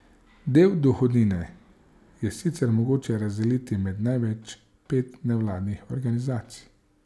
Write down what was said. Del dohodnine je sicer mogoče razdeliti med največ pet nevladnih organizacij.